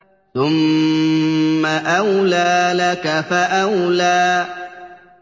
ثُمَّ أَوْلَىٰ لَكَ فَأَوْلَىٰ